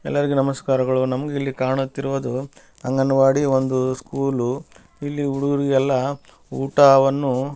ಎಲ್ಲರಿಗು ನಮಸ್ಕಾರಗಳು ನಮ್ಗ್ ಇಲ್ಲಿ ಕಾಣತ್ತಿರುವುದು ಅಂಗನವಾಡಿ ಒಂದು ಸ್ಕೂಲು ಇಲ್ಲಿ ಹುಡುಗ್ರಿಗೆಲ್ಲ ಊಟವನ್ನು --